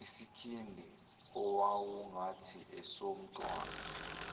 isikhindi owawungathi esomntwana